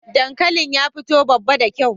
Dankalin ya fito babba da kyau.